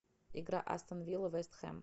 игра астон вилла вест хэм